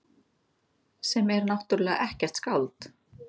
Sem er náttúrlega ekkert skáld.